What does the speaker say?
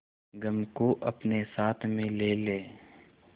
गम को अपने साथ में ले ले